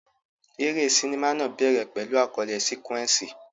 Eré sinimá náà bẹ̀rẹ̀ pẹ̀lú àkọlé sequence.